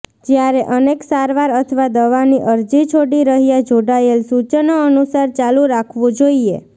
જ્યારે અનેક સારવાર અથવા દવાની અરજી છોડી રહ્યા જોડાયેલ સૂચનો અનુસાર ચાલુ રાખવું જોઈએ